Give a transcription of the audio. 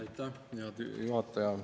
Aitäh, hea juhataja!